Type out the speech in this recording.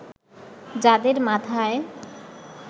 যাদের মাথায়